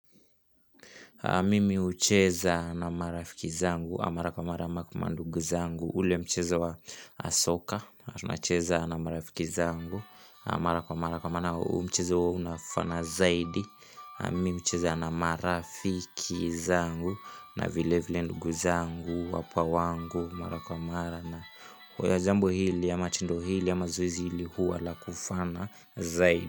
Mimi hucheza na marafiki zangu, mara kwa mara ama kwa manduguzangu ule mcheza wa asoka, tunacheza na marafiki zangu mara kwa mara kwa maana huu mcheza unafana zaidi Mimi hucheza na marafiki zangu, na vile vile ndugu zangu, wapwa wangu Mara kwa mara na where jambo hili, ama tendo hili, ama zoezi hili huwa la kufana zaidi.